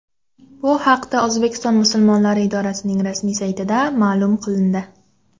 Bu haqda O‘zbekiston musulmonlari idorasining rasmiy saytida ma’lum qilindi .